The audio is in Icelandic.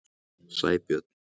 Sæbjörn